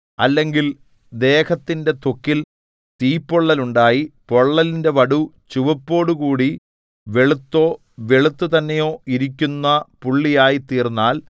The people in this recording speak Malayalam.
അല്ലെങ്കിൽ ദേഹത്തിന്റെ ത്വക്കിൽ തീപ്പൊള്ളൽ ഉണ്ടായി പൊള്ളലിന്റെ വടു ചുവപ്പോടുകൂടി വെളുത്തോ വെളുത്തു തന്നെയോ ഇരിക്കുന്ന പുള്ളിയായിത്തീർന്നാൽ